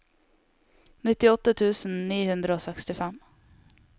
nittiåtte tusen ni hundre og sekstifem